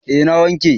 Eh na wanke.